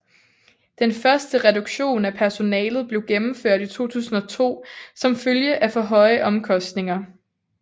Den første reduktion i personalet blev gennemført i 2002 som følge af for høje omkostninger